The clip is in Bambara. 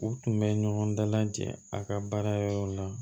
U tun bɛ ɲɔgɔn dalajɛ a ka baara yɔrɔw la